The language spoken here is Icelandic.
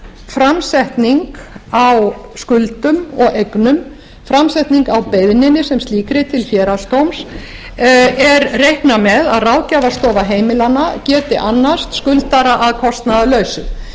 framsetning á skuldum og eignum framsetning á beiðninni sem slíkri til héraðsdóms er reiknað með að ráðgjafarstofa heimilanna geti annast skuldara að kostnaðarlausu í því